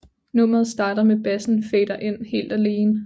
Nummeret starter med bassen fader ind helt alene